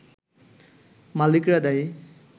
মালিকরা দায়ী